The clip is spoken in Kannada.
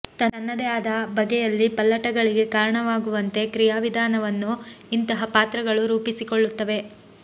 ತನ್ನದೇ ಆದ ಬಗೆಯಲ್ಲಿ ಪಲ್ಲಟಗಳಿಗೆ ಕಾರಣವಾಗುವಂತೆ ಕ್ರಿಯಾವಿಧಾನವನ್ನು ಇಂತಹ ಪಾತ್ರಗಳು ರೂಪಿಸಿಕೊಳ್ಳುತ್ತವೆ